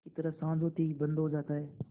की तरह साँझ होते ही बंद हो जाता है